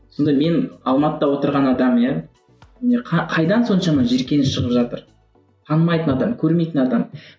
сонда мен алматыда отырған адам иә не қайдан соншама жиіркеніш шығып жатыр танымайтын адам көрмейтін адам